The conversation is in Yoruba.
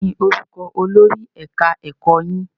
Kí ni orúkọ olórí ẹ̀ka ẹ̀kọ́ yín?